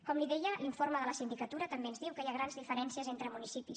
com li deia l’informe de la sindicatura també ens diu que hi ha grans diferències entre municipis